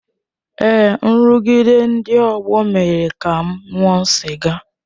Èé, nrụgide ndị ọgbọ mere ka m ṅụọ sịga.